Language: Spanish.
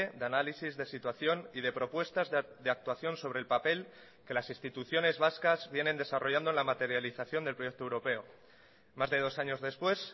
de análisis de situación y de propuestas de actuación sobre el papel que las instituciones vascas vienen desarrollando en la materialización del proyecto europeo más de dos años después